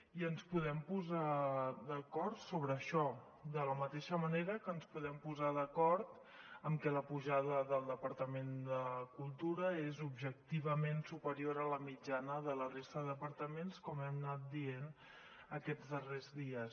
i ens podem posar d’acord sobre això de la mateixa manera que ens podem posar d’acord en que la pujada del departament de cultura és objectivament superior a la mitjana de la resta de departaments com hem anat dient aquests darrers dies